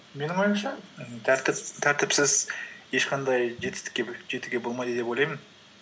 менің ойымша тәртіпсіз ешқандай жетістікке жетуге болмайды деп ойлаймын